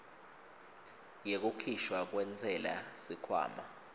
yekukhishwa kwentsela sikhwama